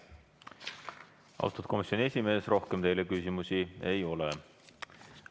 Austatud komisjoni esimees, rohkem teile küsimusi ei ole.